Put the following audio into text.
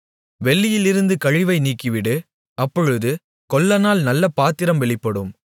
வெள்ளியிலிருந்து கழிவை நீக்கிவிடு அப்பொழுது கொல்லனால் நல்ல பாத்திரம் வெளிப்படும்